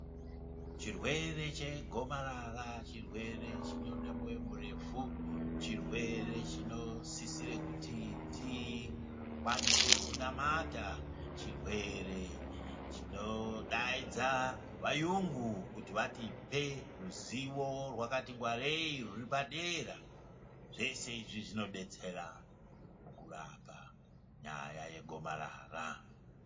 Chirwere chegomarara chirwere chinoda moyo murefu. Chirwere chinosisire kuti tikwanise kunamata, chirwere chinodaidza vaungu kuti vatipe ruzivo rwakati ngwarei ruripadera. Zvese izvi zvinobetsera mukurapa nyaya yegomarara.